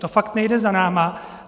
To fakt nejde za námi.